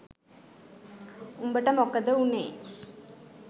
උඹට මොකද වුනේ?